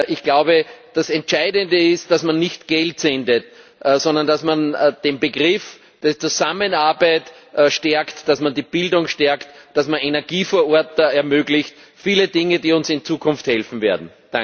Ich glaube, das Entscheidende ist, dass man nicht Geld sendet, sondern dass man den Begriff der Zusammenarbeit stärkt, dass man die Bildung stärkt, dass man Energie vor Ort ermöglicht viele Dinge, die uns in Zukunft helfen werden.